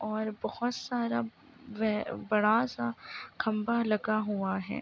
और बहुत सारा वह बड़ा-सा खंभा लगा हुआ है।